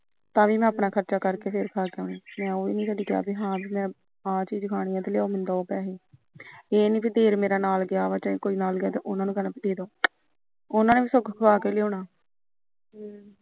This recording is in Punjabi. ਤਾਂ ਵੀ ਮੈਂ ਆਪਣਾ ਖਰਚਾ ਕਰਕੇ ਫਿਰ ਖਾਕੇ ਆਣਾ ਮੈ ਉਹ ਵੀ ਨੀ ਕਦੇ ਕਿਹਾ ਹਾ ਮੈ ਆਹ ਚੀਜ ਖਾਣੀ ਲਿਆਓ ਮੈਨੂ੍ੰ ਦਾਓ ਪੈਹੇ ਇਹ ਨੀ ਦੇਵਰ ਮੇਰਾ ਨਾਲ ਗਿਆਵਾ ਜਾ ਹੋਰ ਨਾਲ ਗਿਆਵਾ ਦੇਦੋ ਉਹਨਾ ਨੂੰ ਵੀ ਸਗੋ ਖੋਆ ਕੇ ਲਿਆਉਣਾ